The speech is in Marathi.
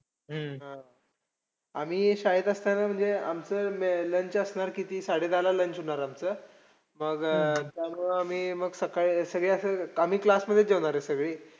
हम्म हा. आम्ही शाळेत असताना म्हणजे अं आमचं lunch असणार किती साडे दहा lunch होणार आमचं. मग तर मग त्यामुळे आम्ही मग सकाळी आम्ही class मध्ये जेवणारे सगळी